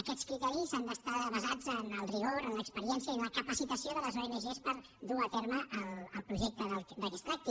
aquests criteris han d’estar basats en el rigor en l’experiència i en la capacitació de les ong per dur a terme el projecte de què es tracti